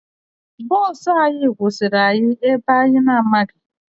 Bọọsụ anyị kwụsịrị anyị ebe anyị na-anaghị